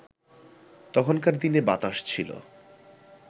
তখনকার দিনে বাতাস ছিল